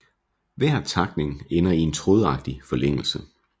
Hver takning ender i en trådagtig forlængelse